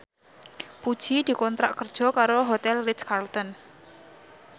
Puji dikontrak kerja karo Hotel Ritz Carlton